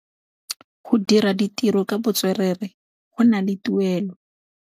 Go dira ditirô ka botswerere go na le tuelô.